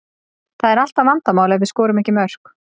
Það er alltaf vandamál ef við skorum ekki mörk.